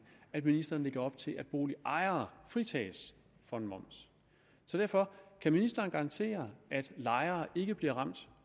at ministeren lægger op til at boligejere fritages for en moms så derfor kan ministeren garantere at lejere ikke bliver ramt